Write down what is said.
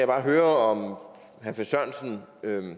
bare høre herre finn sørensen